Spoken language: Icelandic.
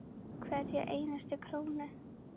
Hverja einustu krónu.